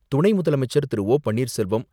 துணை முதலமைச்சர் திரு.பன்னீர்செல்வம்,